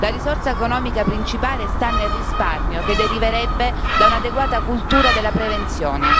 La risorsa economica principale sta nel risparmio che deriverebbe da un'adeguata cultura della prevenzione.